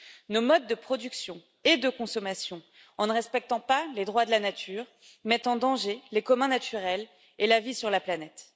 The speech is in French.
Nos modes de production et de consommation, en ne respectant pas les droits de la nature, mettent en danger les communs naturels et la vie sur la planète.